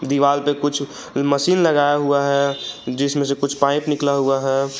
दीवाल पे कुछ मशीन लगाया हुआ है जिसमें से कुछ पाइप निकला हुआ है।